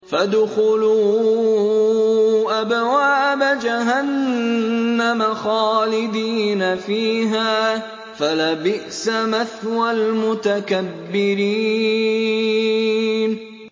فَادْخُلُوا أَبْوَابَ جَهَنَّمَ خَالِدِينَ فِيهَا ۖ فَلَبِئْسَ مَثْوَى الْمُتَكَبِّرِينَ